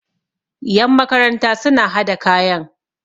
yan makaranta suna hada kayan